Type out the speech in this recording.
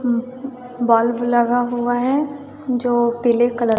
उम् bulb लगा हुआ है जो पीले कलर --